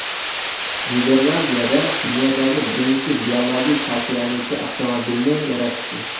Niderlandiyada dunyodagi birinchi biologik parchalanuvchi avtomobilni yaratishdi.